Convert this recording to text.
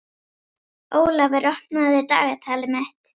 Ólafur, opnaðu dagatalið mitt.